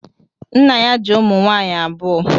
Nna ya ji ụmụ nwaanyị abụọ.